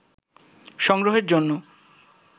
সংগ্রহের জন্য